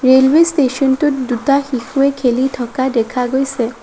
Railway station টোত দুটা শিশুয়ে খেলি থকা দেখা গৈছে।